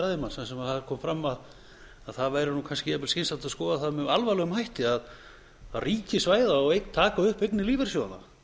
ræðumanns þar sem það kom fram að það væri kannski jafnvel skynsamlegt að skoða það með alvarlegum hætti að ríkisvæða og taka upp eignir lífeyrissjóðanna